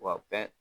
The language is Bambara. Wa bɛɛ